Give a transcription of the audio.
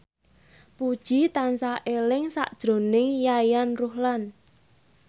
Puji tansah eling sakjroning Yayan Ruhlan